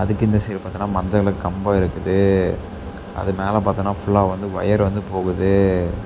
இதுக்கு இந்த சைடு பார்த்தேனா மஞ்ச கலர் கம்பம் இருக்குது அது மேல பார்த்தேனா ஃபுல்லா வந்து ஒயர் வந்து போகுது.